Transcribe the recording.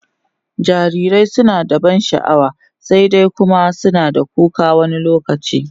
jarirai suna da ban sha'wa, sai dai Kuma suna da kuka wani lokaci